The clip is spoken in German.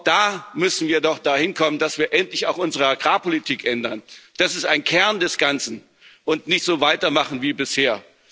Auch da müssen wir doch dahin kommen, dass wir endlich unsere Agrarpolitik ändern das ist ein Kern des Ganzen und nicht so weitermachen wie bisher.